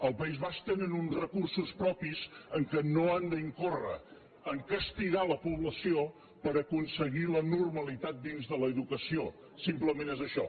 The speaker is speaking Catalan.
al país basc tenen uns recursos propis amb els quals no han d’incórrer a castigar la població per aconseguir la normalitat dins de l’educació simplement és això